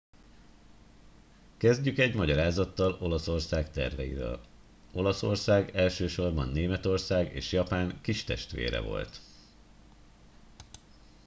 "kezdjük egy magyarázattal olaszország terveiről. olaszország elsősorban németország és japán "kistestvére" volt.